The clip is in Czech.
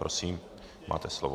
Prosím, máte slovo.